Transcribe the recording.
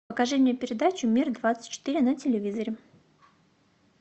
покажи мне передачу мир двадцать четыре на телевизоре